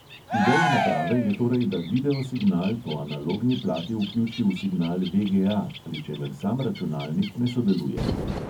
Ideja naprave je torej, da video signal po analogni plati vključi v signal ve|ge|a, pri čemer sam računalnik ne sodeluje.